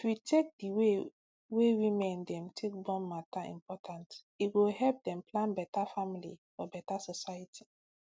if we take d way women dem take born matter important e go help dem plan beta family for beta society